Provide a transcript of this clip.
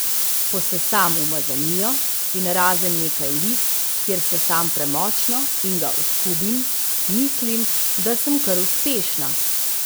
Posesam umazanijo, in razen nekaj lis, kjer sesam premočno in ga oskubim, mislim, da sem kar uspešna.